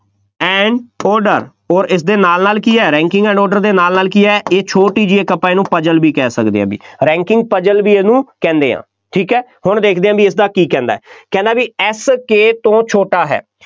and order ਅੋਰ ਇਸਦੇ ਨਾਲ ਨਾਲ ਕੀ ਹੈ ranking and order ਦੇ ਨਾਲ ਨਾਲ ਕੀ ਹੈ ਇਹ ਛੋਟੀ ਜਿਹੀ ਇੱਕ ਆਪਾਂ ਇਹਨੂੰ puzzle ਵੀ ਕਹਿ ਸਕਦੇ ਹਾਂ ਬਈ, ranking puzzle ਵੀ ਇਹਨੂੰ ਕਹਿੰਦੇ ਹਾਂ, ਠੀਕ ਹੈ, ਹੁਣ ਦੇਖਦੇ ਹਾਂ ਬਈ ਇਸਦਾ ਕੀ ਕਹਿੰਦਾ ਹੈ, ਕਹਿੰਦਾ ਬਈ F K ਤੋਂ ਛੋਟਾ ਹੈ,